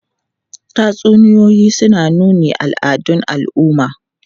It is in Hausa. Tatsuniyoyi suna nuna al'adun al'umma.